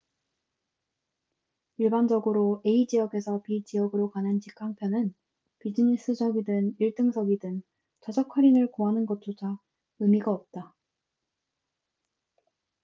일반적으로 a 지역에서 b 지역으로 가는 직항 편은 비즈니스석이든 일등석이든 좌석 할인을 구하는 것조차 의미가 없다